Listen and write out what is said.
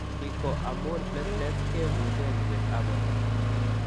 Ni ko amun platelets kebuute ripetab borto.